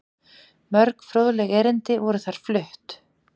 Mörg fróðleg erindi voru þar flutt.